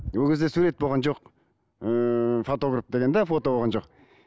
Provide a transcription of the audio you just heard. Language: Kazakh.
ол кезде сурет болған жоқ ыыы фотограф деген де фото болған жоқ